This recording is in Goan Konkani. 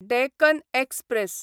डॅकन एक्सप्रॅस